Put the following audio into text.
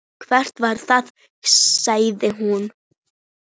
Hvað var það? sagði hún.